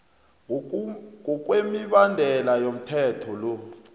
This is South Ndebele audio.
ngokwemibandela yomthetho lo